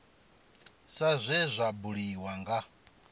sa zwe zwa buliwa nga